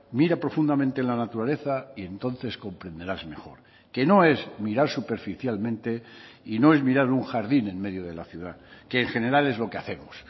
mira profundamente la naturaleza y entonces comprenderás mejor que no es mirar superficialmente y no es mirar un jardín en medio de la ciudad que en general es lo que hacemos